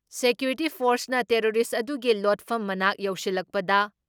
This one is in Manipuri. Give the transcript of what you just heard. ꯁꯦꯀ꯭ꯌꯨꯔꯤꯇꯤ ꯐꯣꯔꯁꯅ ꯇꯦꯔꯣꯔꯤꯁ ꯑꯗꯨꯒꯤ ꯂꯣꯠꯐꯝ ꯃꯅꯥꯛ ꯌꯧꯁꯤꯜꯂꯛꯄꯗ